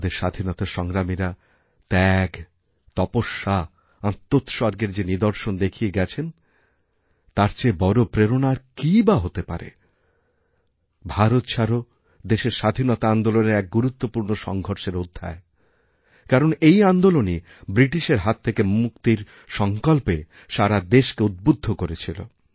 আমাদের স্বাধীনতা সংগ্রামীরা ত্যাগ তপস্যাআত্মোৎসর্গের যে নিদর্শন দেখিয়ে গেছেন তার চেয়ে বড় প্রেরণা আর কীই বা হতে পারেভারত ছাড়ো দেশের স্বাধীনতা আন্দোলনের এক গুরুত্বপূর্ণ সংঘর্ষের অধ্যায় কারণ এইআন্দোলনই বৃটিশের হাত থেকে মুক্তির সংকল্পে সারা দেশকে উদ্বুদ্ধ করেছিল